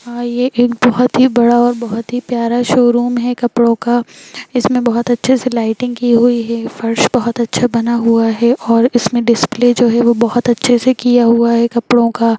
हां ये एक बहुत ही बड़ा और बहुत ही प्यारा शोरूम है कपड़ों का इसमे बहुत अच्छे से लाइटिंग की हुई है फर्श बहुत अच्छा बना हुआ है और इसमे डिस्प्ले जो है वो बहुत अच्छे से किया हुआ है कपड़ों का।